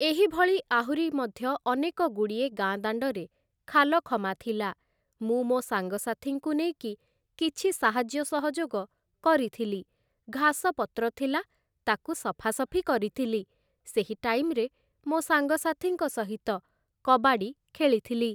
ଏହିଭଳି ଆହୁରି ମଧ୍ୟ ଅନେକଗୁଡ଼ିଏ ଗାଁଦାଣ୍ଡରେ ଖାଲଖମା ଥିଲା ମୁଁ ମୋ' ସାଙ୍ଗସାଥୀଙ୍କୁ ନେଇକି କିଛି ସାହାଯ୍ୟ ସହଯୋଗ କରିଥିଲି । ଘାସପତ୍ର ଥିଲା ତାକୁ ସଫାସଫି କରିଥିଲି । ସେହି ଟାଇମ୍‌ରେ ମୋ' ସାଙ୍ଗସାଥିଙ୍କ ସହିତ କବାଡ଼ି ଖେଳିଥିଲି ।